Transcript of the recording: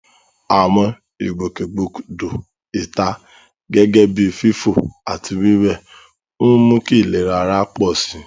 Àwọn ìgbòkègbodò ìta, gẹ́gẹ́ bíi fífò àti wíwẹ̀, ń mú kí ìlera ara pọ̀ sí i.